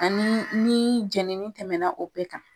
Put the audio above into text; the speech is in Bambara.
Ani ni jenini tɛmɛna o bɛɛ kan.